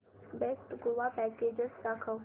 best Goa package दाखव